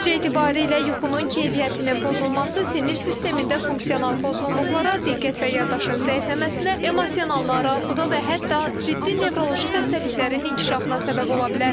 Nəticə etibarilə yuxunun keyfiyyətinin pozulması sinir sistemində funksional pozğunluqlara, diqqət və yaddaşın zəifləməsinə, emosional narahatlığa və hətta ciddi nevroloji xəstəliklərin inkişafına səbəb ola bilər.